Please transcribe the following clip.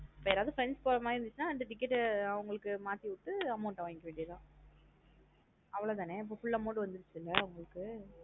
இப்போ யாரது friends போர மாத்ரி இருந்துச்சுன அந்த ticket ஆ அவுங்களுக்கு மாத்தி விட்டு amount ஆ வங்கிக்க வேண்டியதுதான் அவ்ளோ தானே அப்ப full amount வந்துருச்சுல உங்களுக்கு.